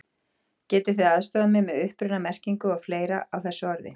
Getið þið aðstoðað mig með uppruna, merkingu og fleira á þessu orði?